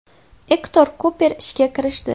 Ektor Kuper ishga kirishdi.